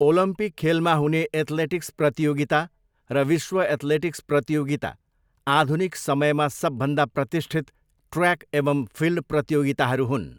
Olympic खेलमा हुने athletics प्रतियोगिता र विश्व एथलेटिक्स प्रतियोगिता आधुनिक समयमा सबभन्दा प्रतिष्ठित ट्रयाक एवं फिल्ड प्रतियोगिताहरू हुन्।